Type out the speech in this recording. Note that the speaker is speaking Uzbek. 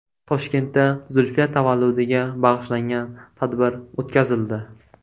Toshkentda Zulfiya tavalludiga bag‘ishlangan tadbir o‘tkazildi.